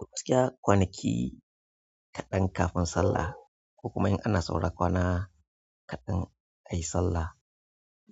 To gaskita kwanaki kaɗan kafin sallah ko kuma in ana saura kwana kaɗan ayi sallah,